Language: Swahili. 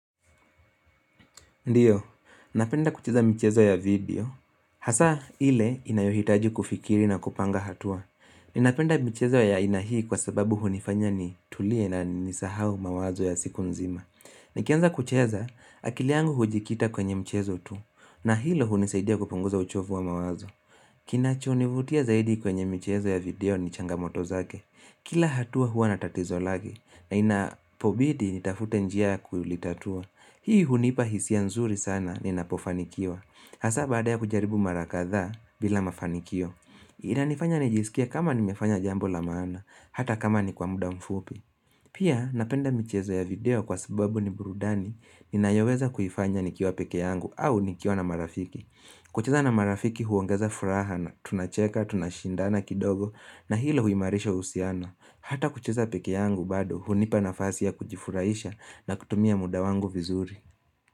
Ndio, napenda kucheza mchezo ya video. Hasa ile inayohitaji kufikiri na kupanga hatua. Ninapenda michezo ya haina hii kwa sababu hunifanya ni tulie na nisahau mawazo ya siku nzima. Nikianza kucheza, akili yangu hujikita kwenye mchezo tu. Na hilo hunisaidia kupunguza uchovu wa mawazo. Kinacho, nivutia zaidi kwenye michezo ya video ni changamoto zake. Kila hatua hua na tatizo lake na inapobidi, nitafute njia ya kulitatua. Hii hunipa hisia nzuri sana ninapofanikiwa. Hasa baada ya kujaribu mara kadhaa bila mafanikio. Inanifanya nijisikia kama nimefanya jambo la maana, hata kama ni kwa muda mfupi. Pia napenda michezo ya video kwa sababu ni burudani, ninayoweza kuifanya nikiwa pekee yangu au nikiwa na marafiki. Kucheza na marafiki huongeza furaha na tunacheka, tunashindana kidogo na hilo huimarisha uhusiano. Hata kucheza peke yangu bado hunipa nafasi ya kujifuraisha na kutumia muda wangu vizuri.